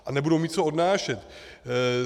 A nebudou mít co odnášet.